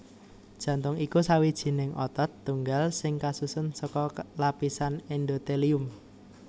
Jantung iku sawijining otot tunggal sing kasusun saka lapisan endothelium